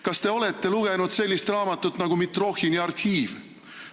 Kas te olete lugenud sellist raamatut nagu "Mitrohhini arhiiv"?